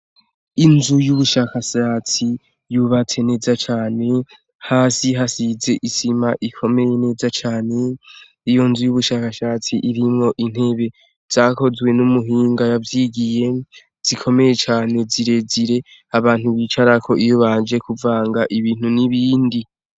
Inzu y'ubushakashatsi yubatse neza cane , hasi hasize isima ikomeye meza Cane ,iyo nzu y'ubushakashatsi irimwo intebe zakozwe numuhinga yavyigiye zikomeye cane zirezire abantu bicarako iyo baje kumvanga ibintu nibindi.